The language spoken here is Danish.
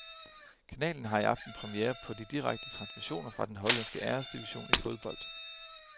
Kanalen har i aften premiere på de direkte transmissioner fra den hollandske æresdivision i fodbold.